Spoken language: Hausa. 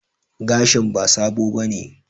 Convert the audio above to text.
Gashin ba sabo bane